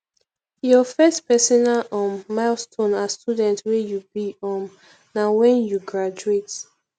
your first personal um milestone as student wey you be um na wen you graduate